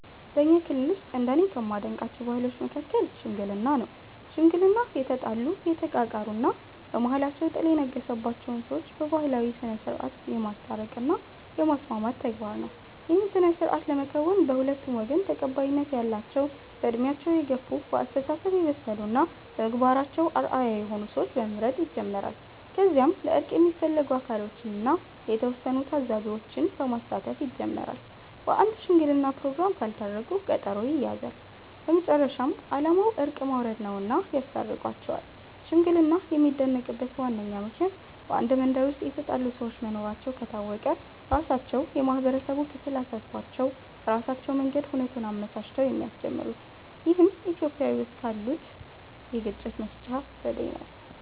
በኛ ክልል ውስጥ እንደኔ ከማደንቃቸው ባህሎች መሀከል "ሽምግልና" ነው። ሽምግልና የተጣሉ፣ የተቃቃሩ እና በመሃላቸው ጥል የነገሰባቸውን ሰዎች በባህላዊ ስነስርዓት የማስታረቅ እና የማስማማት ተግባር ነው። ይህን ስነስርዓት ለመከወን በሁለቱም ወገን ተቀባይነት ያላቸው በእድሜያቸው የገፍ፣ በአስተሳሰብ የበሰሉ እና በምግባራቸው አርአያ የሆኑ ሰዎችን በመምረጥ ይጀምራል። ከዚያም ለእርቅ የሚፈለጉት አካሎችን እና የተወሰኑ ታዛቢዎች በማሳተፍ ይጀመራል። በአንድ ሽምግለና ፕሮግራም ካልታረቁ ቀጠሮ ይያያዛል። በመጨረሻም አላማው እርቅ ማውረድ ነውና ያስታርቋቸዋል። ሽምግልና የሚደነቅበት ዋነኛው ምክንያት በአንድ መንደር ውስጥ የተጣሉ ሰዎች መኖራቸው ከታወቀ ራሳቸው የማህበረሰቡ ክፍል አሳስቧቸው በራሳቸው መንገድ ሁነቱን አመቻችተው የሚያስጀምሩት ይህም ኢትዮጵያዊ ውስጥ ካሉት የግጭት መፍቻ ዘዴ ነው።